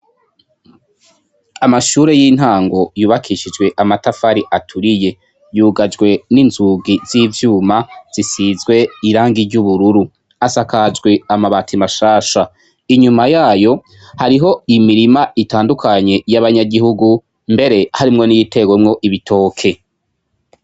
Amashure y'intango yubakishijwe amatafari aturiye yugajwe ninzugi zivyuma zisize irangi ry'ubururu asakajwe amabati mashasha inyuma yayo hariho imirima yabanyagihugu mbere harimwo niyiteyemwo ibitoke.